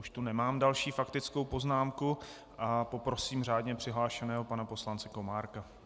Už tu nemám další faktickou poznámku a poprosím řádně přihlášeného pana poslance Komárka.